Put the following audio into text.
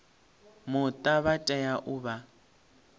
muta vha tea u vha